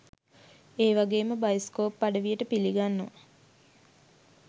ඒවගේම බයිස්කෝප් අඩවියට පිලිගන්නවා